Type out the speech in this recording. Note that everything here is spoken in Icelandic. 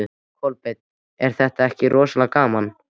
Kolbeinn: Er þetta ekki rosalega gaman?